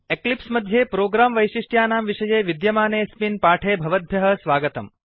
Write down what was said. Eclipse मध्ये program वैशिष्ट्यानां विषये विद्यमानेऽस्मिन् पाठे भवद्भ्यः स्वागतम्